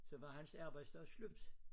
Så var hans arbejdsdag slut